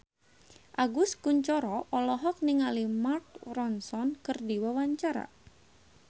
Agus Kuncoro olohok ningali Mark Ronson keur diwawancara